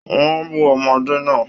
Wọn bù ọmọdé náà.